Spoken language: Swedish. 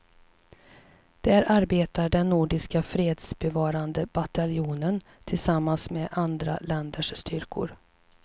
Där arbetar den nordiska fredsbevarande bataljonen tillsammans med andra länders styrkor.